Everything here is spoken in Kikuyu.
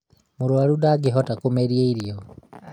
mũrũaru ndangĩhota kũmeria irio